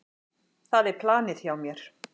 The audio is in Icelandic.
Það er planið hjá mér.